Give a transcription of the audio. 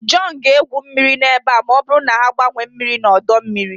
John ga-egwu mmiri ebe a ma ọ bụrụ na ha agbanwee mmiri na ọdọ mmiri